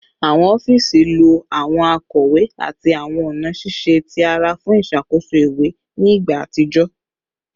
Awọn ọfiisi lo awọn akọwe ati awọn ọna ṣiṣe ti ara fun iṣakoso iwe ni igba atijọ